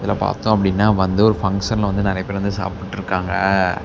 இத பாத்தோ அப்டின்னா வந்து ஒரு ஃபங்ஷன்ல வந்து நறைய பேரு வந்து சாப்டுட்ருக்காங்க.